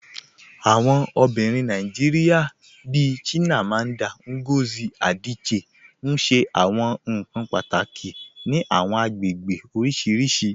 Awọn obìnrin Nàìjíríà bíì Chimamanda Ngozi Adichie n ṣẹ awọn nkan pátákì ní àwọn agbègbè oríṣiríṣì.